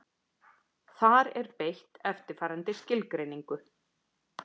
Þar er beitt eftirfarandi skilgreiningu: